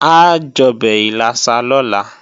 A jọbẹ̀ ìlàsà lọ́la